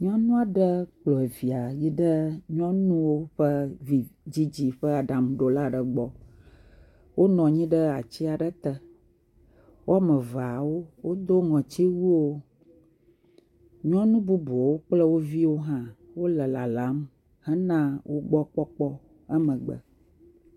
Nyɔnu aɖe kplɔ via yi ɖe nyɔnuwo ƒe vidzidzi ƒe aɖaŋuɖola aɖe gbɔ. Wonɔ anyi ɖe ati ɖe te. Woame vea wodo ŋɔtiwuiwo. Nyɔnu bubu kple wo viwo hã wole lalam hena wo gbɔ kpɔkpɔ, emegbe.